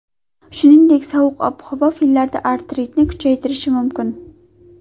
Shuningdek, sovuq ob-havo fillarda artritni kuchaytirishi mumkin.